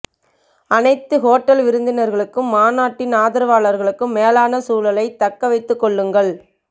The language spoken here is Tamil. அனைத்து ஹோட்டல் விருந்தினர்களுக்கும் மாநாட்டின் ஆதரவாளர்களுக்கும் மேலான சூழலைத் தக்கவைத்துக் கொள்ளுங்கள்